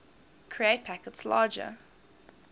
create packets larger